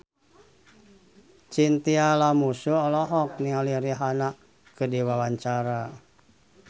Chintya Lamusu olohok ningali Rihanna keur diwawancara